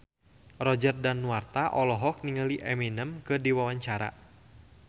Roger Danuarta olohok ningali Eminem keur diwawancara